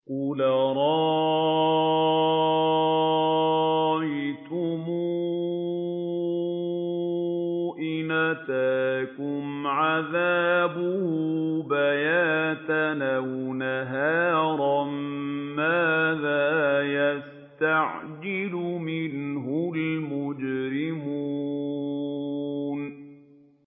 قُلْ أَرَأَيْتُمْ إِنْ أَتَاكُمْ عَذَابُهُ بَيَاتًا أَوْ نَهَارًا مَّاذَا يَسْتَعْجِلُ مِنْهُ الْمُجْرِمُونَ